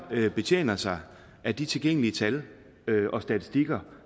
betjener sig af de tilgængelige tal og statistikker